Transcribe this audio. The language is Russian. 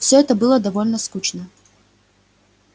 всё это было довольно скучно